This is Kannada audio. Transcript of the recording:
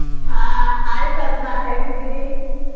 ಆಹ್ hai ಸಾಧನಾ ಹೇಗಿದ್ದೀರಿ?